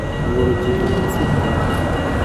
Luoro Chike mag Sirkal